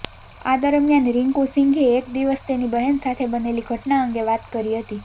આ દરમિયાન રિન્કુસિંઘે એક દિવસ તેની બહેન સાથે બનેલી ઘટનાં અંગે વાત કરી હતી